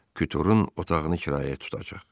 Kütürün otağını kirayəyə tutacaq.